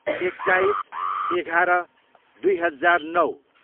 एक्काइस, एघार, दुई हजार नौ